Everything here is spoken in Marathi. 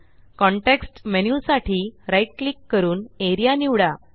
कॉन्टेक्स्ट मेन्यु साठी right क्लिक करून एआरईए निवडा